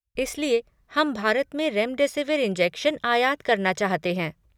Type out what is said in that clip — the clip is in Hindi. इसलिए, हम भारत में रेमडेसिविर इंजेक्शन आयात करना चाहते हैं।